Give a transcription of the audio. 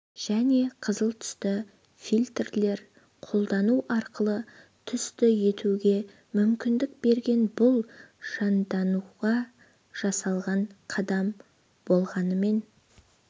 және қызыл түсті фильтрлер қолдану арқылы түсті етуге мүмкіндік берген бұл жандануға жасалған қадам болғанымен